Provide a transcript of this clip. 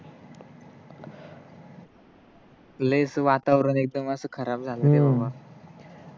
लई च वातावरण एकदम अस खराब झालय रे बाबा